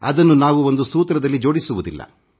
ಅದನ್ನು ನಾವು ಒಂದು ಸೂತ್ರದಲ್ಲಿ ಜೋಡಿಸುವುದಿಲ್ಲ